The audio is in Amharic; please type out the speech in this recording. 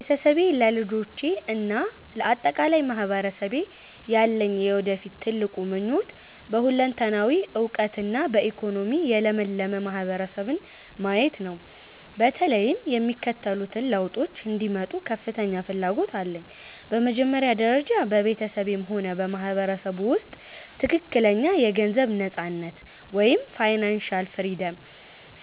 ለቤተሰቤ፣ ለልጆቼ እና ለአጠቃላይ ማህበረሰቤ ያለኝ የወደፊት ትልቁ ምኞት በሁለንተናዊ እውቀትና በኢኮኖሚ የለመለመ ማህበረሰብን ማየት ነው። በተለይም የሚከተሉት ለውጦች እንዲመጡ ከፍተኛ ፍላጎት አለኝ፦ በመጀመሪያ ደረጃ፣ በቤተሰቤም ሆነ በማህበረሰቡ ውስጥ ትክክለኛ የገንዘብ ነፃነት (Financial Freedom)